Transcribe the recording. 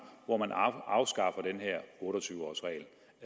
hvor man afskaffer denne otte og tyve års regel